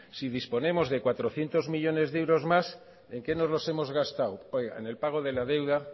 si disponemos de cuatrocientos millónes de euros más en qué nos lo hemos gastado en el pago de la deuda